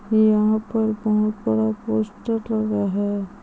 यंहा पर बोहत बड़ा पोस्टर लगा है ।